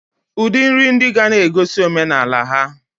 Udi nri ndi gana egosi omenala ha.